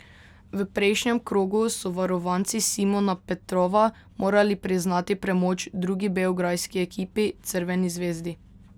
V prejšnjem krogu so varovanci Simona Petrova morali priznati premoč drugi beograjski ekipi, Crveni zvezdi.